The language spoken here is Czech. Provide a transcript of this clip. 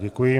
Děkuji.